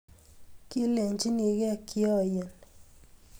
kilenchinekee kioiyen